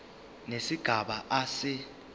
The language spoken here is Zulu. nesigaba a se